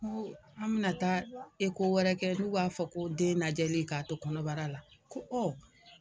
Ko an bɛna taa wɛrɛ kɛ n'u b'a fɔ ko den lajɛ k'a to kɔnɔbara la, ko ɔ.